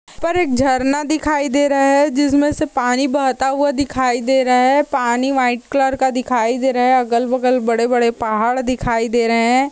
ऊपर पर एक झरना दिखाई दे रहा है जिसमे से पानी बहता हुआ दिखाई दे रहा है। पानी वाइट कलर का दिखाई दे रहा है। अगल बगल बड़े बड़े पहाड़ दिखाई दे रहे है।